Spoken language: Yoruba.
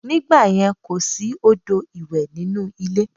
Nígbàyẹn, kò sí odò ìwẹ̀ inú ilé